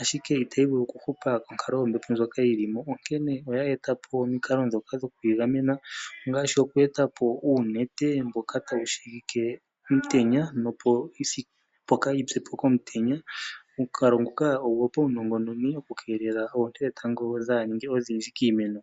ashike itayi vulu okuhupa onkalo yombepo ndjoka yili mo onkene oya eta po omikalo ndhoka dhokuyigamena ngaashi oku eta po uunete mboka tawu shigi omutenya, opo kaayi pye po komutenya. Omukalo nguka ogwopaunongononi gwokukeelela oonte dhetango kaadhi ninge odhindji kiimeno.